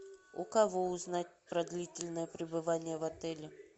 у кого узнать про длительное пребывание в отеле